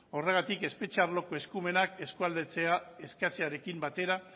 horregatik espetxe arloko eskumenak eskualdatzea eskatzearekin batera